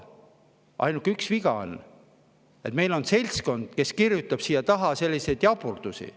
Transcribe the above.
On ainult üks viga: meil on seltskond, kes kirjutab siia selliseid jaburdusi.